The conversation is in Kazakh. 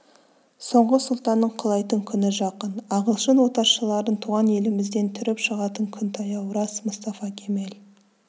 соңғы сұлтанның құлайтын күні жақын ағылшын отаршыларын туған елімізден түріп шығатын күн таяу рас мұстафа кемел